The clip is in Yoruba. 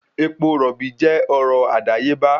Epo rọ̀bì jẹ́ ọrọ̀ àdáyébá